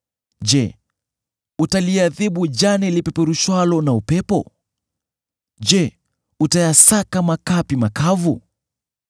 Je, utaliadhibu jani lipeperushwalo na upepo? Je, utayasaka makapi makavu?